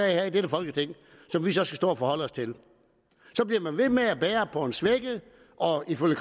her i dette folketing som vi så skal stå og forholde os til så bliver man ved med at bære på en svækket og ifølge